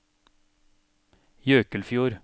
Jøkelfjord